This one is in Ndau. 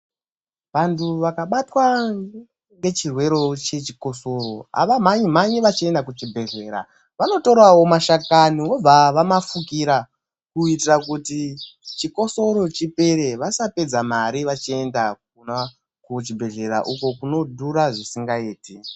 Vantu vakabatwa ngechirwerevo chechikosoro havamhanyi-mhanyi vachiendawo kuchibhedhlera. Vanotoravo mashakani vobva vamafukira kuitira kuti chikosoro chipere, vasapedza mari vachienda kuchibhedhlera uko kunodhura zvisingaiti.